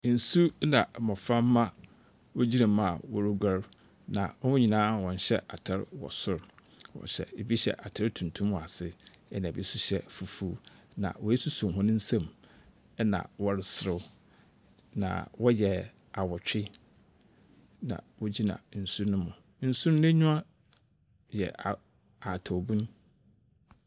Nsu na mboframba wogyina mu a wɔroguar. Hɔn nyinaa wɔnhyɛ atar wɔ sor. Bi hyɛ atar tuntum wɔ ase, na bi nso hyɛ fufuw, na woesosɔ hɔn nsamu, na wɔreserew. Na wɔyɛ awotwena wogyina nsu nu mu. Nsu no enyiwa yɛ a ahatawbun.